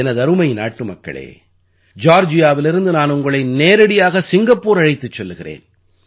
எனதருமை நாட்டுமக்களே ஜார்ஜியாவிலிருந்து நான் உங்களை நேரடியாக சிங்கப்பூர் அழைத்துச் செல்கிறேன்